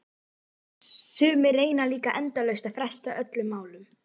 Sumir reyna líka endalaust að fresta öllum málum.